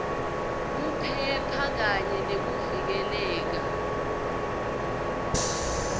kuphepha kanye nekuvikeleka